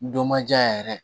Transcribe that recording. Dɔ ma diya yɛrɛ